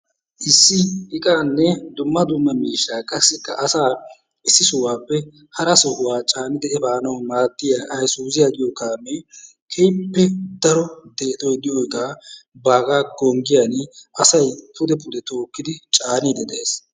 Issi iqaanne dumma dumma mishshaa qassikka asaa issi sohuwappe hara sohuwaa caanidi efaanawu maaddiyaa aysuuziyaa giyoo kaamee keehippe daro deexoy de'iyoo iqaa bagaa konkkiyaan asay pude pude tookkidi caanniidi de'ees.